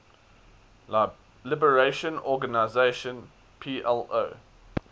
liberation organization plo